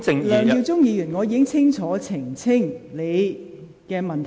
梁耀忠議員，我已清楚回答你的問題。